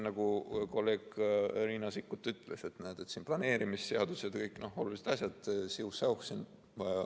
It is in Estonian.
Nagu kolleeg Riina Sikkut ütles, et planeerimisseadus ja kõik olulised asjad, siuh-säuh.